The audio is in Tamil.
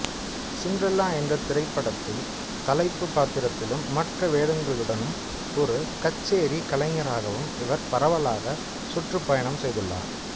சிண்ட்ரெல்லா என்றத் திரைப்படத்தில் தலைப்பு பாத்திரத்திலும் மற்ற வேடங்களுடனும் ஒரு கச்சேரி கலைஞராகவும் இவர் பரவலாக சுற்றுப்பயணம் செய்துள்ளார்